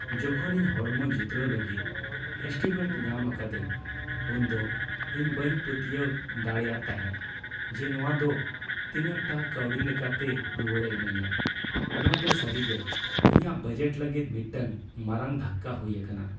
ᱡᱚᱠᱷᱚᱱ ᱤᱧ ᱦᱚᱲᱢᱚ ᱡᱩᱛᱨᱟᱹᱣ ᱞᱟᱹᱜᱤᱫ ᱮᱥᱴᱤᱢᱮᱴ ᱧᱟᱢ ᱟᱠᱟᱫᱤᱧ , ᱩᱱᱫᱚ ᱤᱧ ᱵᱟᱹᱧ ᱯᱟᱹᱛᱭᱟᱹᱣ ᱯᱟᱹᱛᱭᱟᱹᱣ ᱫᱟᱲᱮᱭᱟᱜ ᱛᱟᱦᱮᱫ ᱡᱮ ᱱᱚᱶᱟ ᱫᱚ ᱛᱤᱱᱟᱜᱴᱟ ᱠᱟᱹᱣᱰᱤ ᱞᱮᱠᱟᱛᱮ ᱨᱩᱣᱟᱹᱲᱮ ᱤᱢᱟᱹᱧᱟ ᱾ ᱱᱚᱶᱟ ᱫᱚ ᱥᱟᱹᱨᱤᱜᱮ ᱤᱧᱟᱹᱜ ᱵᱟᱡᱮᱴ ᱞᱟᱹᱜᱤᱫ ᱢᱤᱫᱴᱟᱝ ᱢᱟᱨᱟᱝ ᱫᱷᱟᱠᱠᱟ ᱦᱩᱭ ᱟᱠᱟᱱᱟ ᱾